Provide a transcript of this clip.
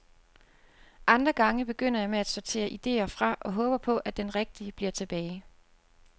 Andre gange begynder jeg med at sortere idéer fra og håber på, at den rigtige bliver tilbage.